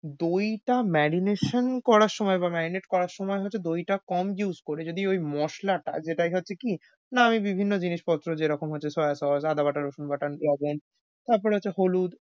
দইটা marination করার সময় বা marinate করার সময় হচ্ছে দইটা কম করে use যদি ওই মসলাটা যেটা হচ্ছে কি মানে বিভিন্ন জিনিস পত্র যেরকম হচ্ছে soya sauce আদাবাটা রসুনবাটা তারপর হচ্ছে হলুদ।